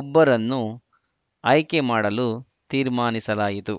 ಒಬ್ಬರನ್ನು ಆಯ್ಕೆ ಮಾಡಲು ತೀರ್ಮಾನಿಸಲಾಯಿತು